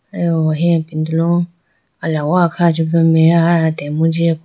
ayaw ahi ipindolo alawa kha chibido meya aya atenbo jiya po.